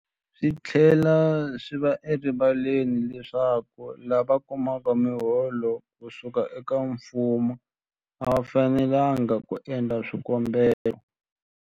Swi tlhela swi va erivaleni leswaku lava kumaka miholo ku suka eka mfumo a va fanelanga ku endla swikombelo.